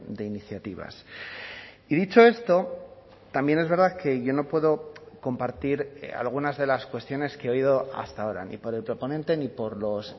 de iniciativas y dicho esto también es verdad que yo no puedo compartir algunas de las cuestiones que he oído hasta ahora ni por el proponente ni por los